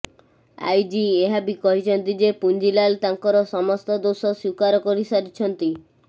IG ଏହା ବି କହିଛନ୍ତି ଯେ ପୁଞ୍ଜିଲାଲ ତାଙ୍କର ସମସ୍ତ ଦୋଷ ସ୍ୱୀକାର କରିସାରିଛନ୍ତି